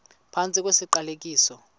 phantsi kwesi siqalekiso